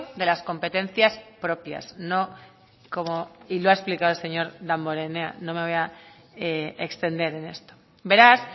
de las competencias propias no como y lo ha explicado el señor damborenea no me voy a extender en esto beraz